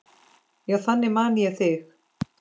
Já, þannig man ég þig.